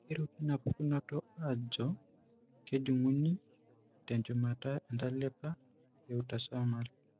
Keiruki inapukunoto aajo kejung'uni tenchumata entalipa eautosomal.